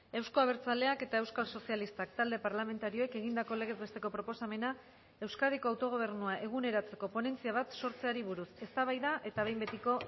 euzko abertzaleak eta euskal sozialistak talde parlamentarioek egindako legez besteko proposamena euskadiko autogobernua eguneratzeko ponentzia bat sortzeari buruz eztabaida eta behin betiko